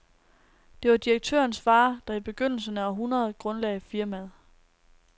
Det var direktørens far, der i begyndelsen af århundredet grundlagde firmaet.